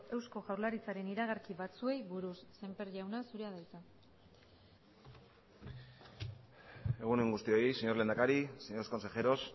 eusko jaurlaritzaren iragarki batzuei buruz sémper jauna zurea da hitza egun on guztioi señor lehendakari señores consejeros